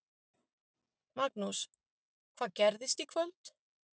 Magnús: Hvað gerist í kvöld?